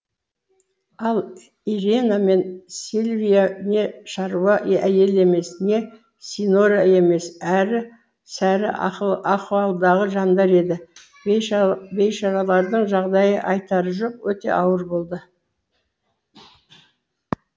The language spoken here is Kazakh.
ал ирена мен сильвия не шаруа әйел емес не синьора емес әрі сәрі ахуалдағы жандар еді бейшаралардың жағдайы айтары жоқ өте ауыр болды